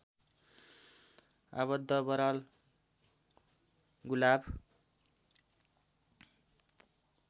आबद्ध बराल गुलाफ